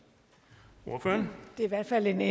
herinde